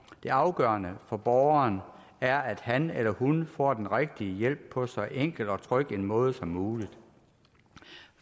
det afgørende for borgeren er at han eller hun får den rigtige hjælp på så enkel og tryg en måde som muligt